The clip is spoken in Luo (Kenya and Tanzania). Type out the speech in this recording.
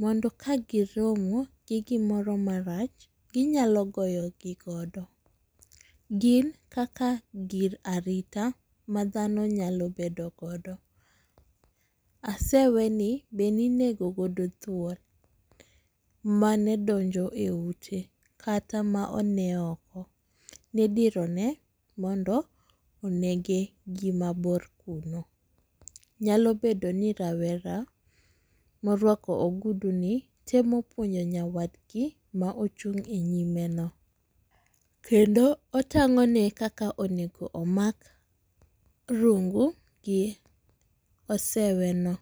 moro ka gi romo gi gimoro ma rach gi nyalo goyo gi go. Gin kaka gir arita ma dhano nyalo bedo godo .Asewe ni be ne inego godo thuol mane donjo e ute kata ma ne onee oko. Ne idiro ne gi mondo onege gi ma bor kuno. Nyalo bedo ni rawera ma orwako ogudu ni temo puonjo nyawadgi ma ochung e nyime no. Kendo otangone kaka onego omak rungu gi osewe no.